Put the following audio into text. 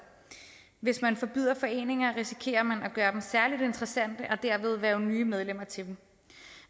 hvis man forbyder foreninger risikerer man at gøre dem særlig interessante og dermed hverve nye medlemmer til dem